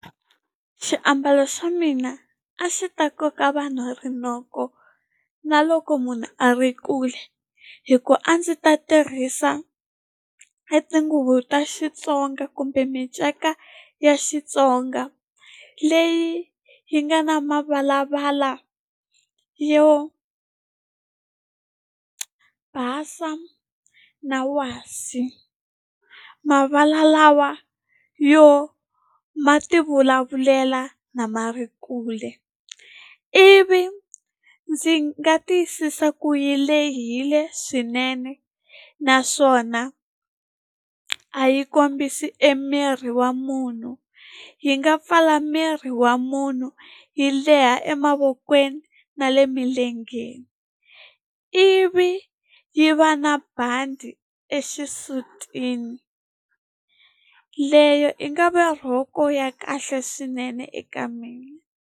Xiambalo xa mina a xi ta koka vanhu rinoko na loko munhu a ri kule hikuva a ndzi ta tirhisa e tinguvu ta Xitsonga kumbe minceka ya Xitsonga leyi yi nga na mavalavala yo basa na wasi mavala lawa yo ma tivulavulela na ma ri kule ivi ndzi nga tiyisisa ku yi lehile swinene naswona a yi kombisi emiri wa munhu. Yi nga pfala miri wa munhu yi leha emavokweni na le emilengeni ivi yi va na bandi exisutini leyo i nga vi rhoko ya kahle swinene eka mina.